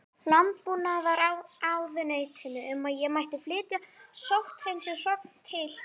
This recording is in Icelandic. Landbúnaðarráðuneytinu um að ég mætti flytja sótthreinsuð hrogn til